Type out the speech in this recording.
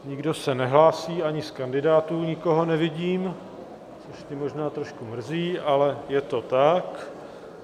Nikdo se nehlásí, ani z kandidátů nikoho nevidím, což mě možná trošku mrzí, ale je to tak.